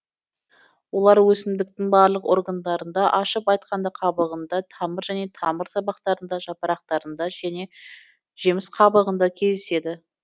олар өсімдіктің барлық органдарында ашып айтқанда қабығында тамыр және тамыр сабақтарында жапырақтарында және жеміс қабығында кезедеседі